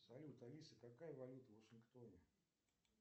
салют алиса какая валюта в вашингтоне